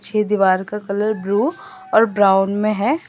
पीछे दीवार का कलर ब्लू और ब्राउन में है।